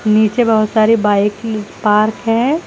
नीचे बहोत सारी बाइक की पार्क है।